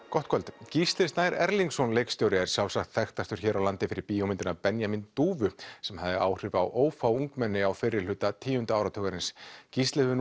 gott kvöld Gísli Snær Erlingsson leikstjóri er sjálfsagt þekktastur hér á landi fyrir bíómyndina Benjamín dúfu sem hafði áhrif á ófá ungmenni á fyrri hluta tíunda áratugarins Gísli hefur